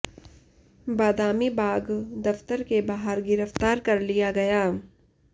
बादामी बाग़ दफ्तर के बाहर गिरफ्तार कर लिया गया